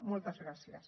moltes gràcies